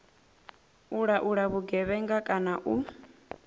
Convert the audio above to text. u laula vhugevhenga kana u